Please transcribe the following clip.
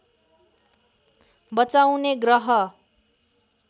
बचाउने ग्रह